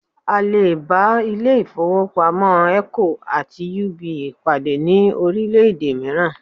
À lè bá ilé ìfowópamọ́ Eco àti UBA pàdé ní orílẹ̀-èdè mìíràn